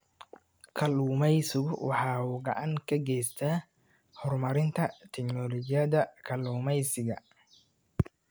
Kalluumaysigu waxa uu gacan ka geystaa horumarinta tignoolajiyada kalluumaysiga.